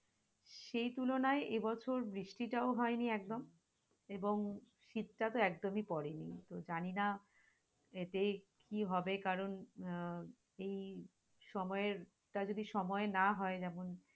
সেই তুলনায়এবছর বৃষ্টিটাও হয়নি একদম এবং শীতটা তো একদমই পরেনি, তো জানি না এতে কি হবে কারন আহ এই সময়টা যদি সময় না হই এমন